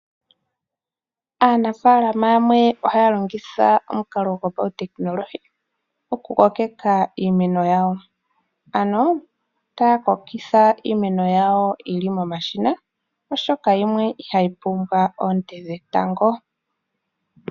Aanafalama yamwe ohaya longitha omukalo gwopautekinolohi, okukokeka iimeno yawo. Ano taya kokitha iimeno yawo yili momashina, oshoka yimwe ihayi pumbwa oonte dhetango.